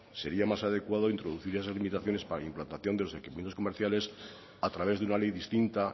sería más adecuado introducir esas limitaciones para la implantación de equipamientos comerciales a través de una ley distinta